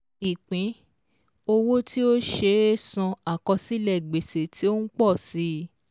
Ìpín-owó tí ó ṣeé san àkọsílẹ̀ gbèsè tí ó ń pò si